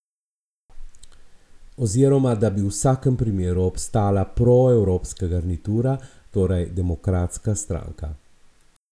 Oziroma, da bi v vsakem primeru obstala proevropska garnitura, torej Demokratska stranka.